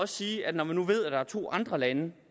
sige at når man nu ved at der er to andre lande